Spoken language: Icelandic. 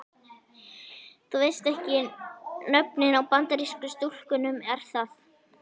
Þú veist ekki nöfnin á Bandarísku stúlkunum er það?